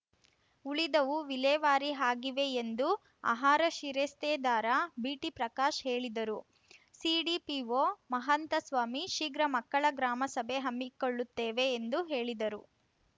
ಉಳಿದವು ವಿಲೇವಾರಿ ಆಗಿವೆ ಎಂದು ಆಹಾರ ಶಿರಸ್ತೇದಾರ ಬಿಟಿಪ್ರಕಾಶ್‌ ಹೇಳಿದರು ಸಿಡಿಪಿಓ ಮಹಂತಸ್ವಾಮಿ ಶೀಘ್ರ ಮಕ್ಕಳ ಗ್ರಾಮ ಸಭೆ ಹಮ್ಮಿಕೊಳ್ಳುತ್ತೇವೆ ಎಂದು ಹೇಳಿದರು